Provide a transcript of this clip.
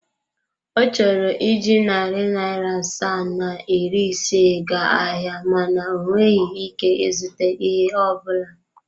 Ọ chọrọ iji narị naira asaa na iri ise gaa ahịa mana o nweghị ike ịzụta ihe ọ bụla.